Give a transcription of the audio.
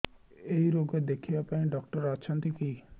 ଏଇ ରୋଗ ଦେଖିବା ପାଇଁ ଡ଼ାକ୍ତର ଅଛନ୍ତି କି